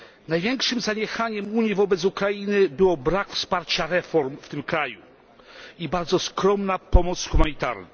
Największym zaniechaniem Unii wobec Ukrainy był brak wsparcia reform w tym kraju i bardzo skromna pomoc humanitarna.